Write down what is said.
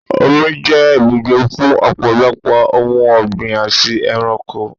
Omi jẹ́ ibùgbé fún ọ̀pọ̀lọpọ̀ ohun ọgbín àti ẹranko.